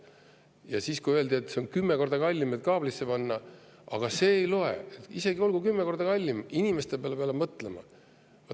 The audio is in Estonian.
Ja siis, kui neile öeldi, et see kaablisse panemine on 10 korda kallim, aga see ei loe, olgu see isegi 10 korda kallim, aga inimeste peale peab mõtlema!